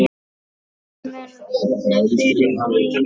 Það mun vinna fyrir þig.